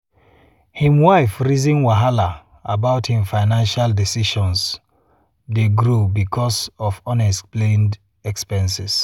him wife rizin wahala about him financial decisions dey grow because of unexplained expenses.